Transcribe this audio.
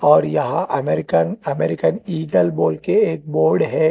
और यहां American American eagle बोलके एक बोर्ड है।